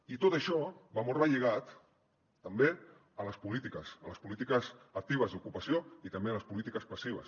i tot això va molt relligat també a les polítiques a les polítiques actives d’ocupació i també a les polítiques passives